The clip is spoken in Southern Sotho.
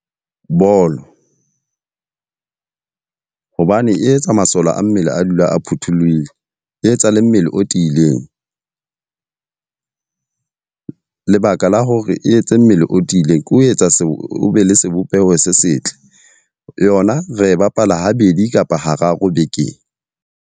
Bolo, hobane e etsa masole a mmele a dula a phuthollohile. E etsa le mmele o tiileng. lebaka la hore e etse mmele o tiileng ko etsa o be le sebopeho se setle Yona ra e bapalwa habedi kapa hararo bekeng.